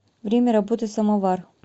время работы самоваръ